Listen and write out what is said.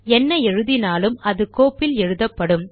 என்ன எழுதினாலும் அது கோப்பில் எழுதப்படும்